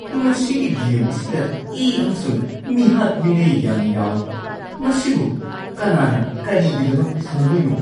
ꯃꯁꯤꯒꯤ ꯒꯦꯝ ꯑꯁꯤꯗ ꯏ ꯑꯃꯁꯨꯡ ꯃꯤꯍꯥꯠ-ꯃꯤꯅꯩ ꯌꯥꯝꯅ ꯌꯥꯎꯏ꯫ ꯃꯁꯤꯕꯨ ꯀꯅꯥꯅ ꯀꯔꯤꯒꯤꯗꯃꯛ ꯁꯥꯟꯅꯗꯣꯏꯅꯣ?